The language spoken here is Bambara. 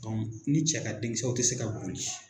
ni cɛ ka den kisɛw te se ka boli